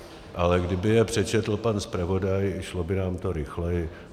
Ale kdyby je přečetl pan zpravodaj, šlo by nám to rychleji.